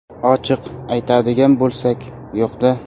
Ochiq aytadigan bo‘lsak, yo‘q-da.